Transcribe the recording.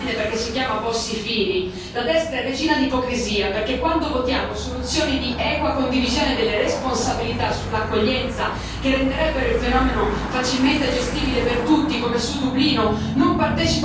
La destra è regina d'ipocrisia, perché quando votiamo soluzioni di equa condivisione delle responsabilità sull'accoglienza, che renderebbero il fenomeno facilmente gestibile per tutti, come su Dublino, non partecipa al negoziato e poi vota contro.